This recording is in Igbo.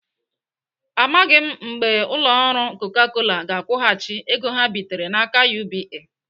Amaghị mgbe ụlọ ọrụ Coca Cola ga-akwụghachi ego ha bitere n'aka UBA.